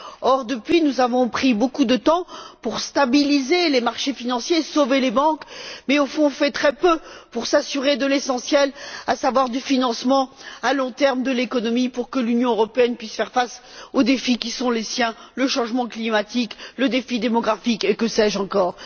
Or, depuis, nous avons pris beaucoup de temps pour stabiliser les marchés financiers et pour sauver les banques, mais au fond on fait très peu pour s'assurer de l'essentiel, à savoir du financement à long terme de l'économie pour que l'Union européenne puisse faire face aux défis qui sont les siens le changement climatique, le défi démographique et que sais je encore.